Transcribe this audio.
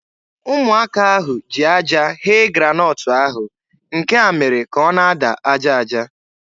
Ụmụaka ahụ ji aja ghee granọt ahụ. Nke a mere ka ọ na-ada aja aja.